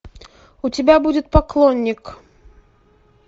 у тебя будет поклонник